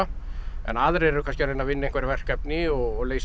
en aðrir eru kannski að reyna að vinna einhver verkefni og leysa